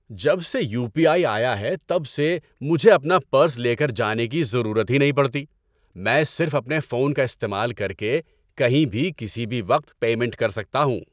جب سے U P I آیا ہے تب سے مجھے اپنا پرس لے کر جانے کی ضرورت ہی نہیں پڑتی۔ میں صرف اپنے فون کا استعمال کر کے کہیں بھی کسی بھی وقت پیمنٹ کر سکتا ہوں۔